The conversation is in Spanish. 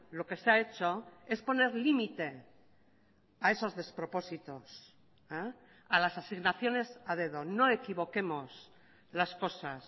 lo que se ha hecho es poner límite a esos despropósitos a las asignaciones a dedo no equivoquemos las cosas